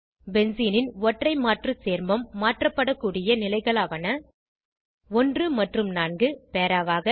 பென்சீனின் ஒற்றை மாற்று சேர்மம் மாற்றப்படக்கூடிய நிலைகளாவன 1 மற்றும் 4 பேராவாக